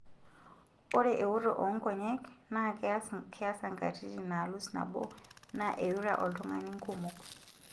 Ore ewoto oonkonyek naa keasa nkatitin naalus nabo, naa eirura oltungani nkumok.